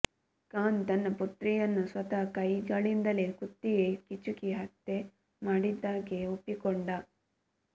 ಖಾನ್ ತನ್ನ ಪುತ್ರಿಯನ್ನು ಸ್ವತಃ ಕೈಗಳಿಂದಲೇ ಕುತ್ತಿಗೆ ಹಿಚುಕಿ ಹತ್ಯೆ ಮಾಡಿದ್ದಾಗಿ ಒಪ್ಪಿಕೊಂಡ